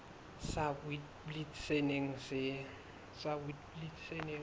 sa witblits se neng se